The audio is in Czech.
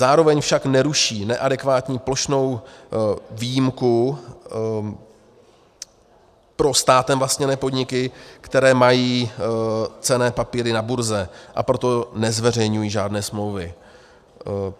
Zároveň však neruší neadekvátní plošnou výjimku pro státem vlastněné podniky, které mají cenné papíry na burze, a proto nezveřejňují žádné smlouvy.